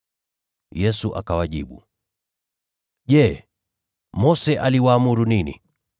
Yesu akawajibu, “Je, Mose aliwaamuru nini?”